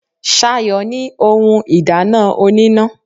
Sayo ní ohun ìdáná oníná.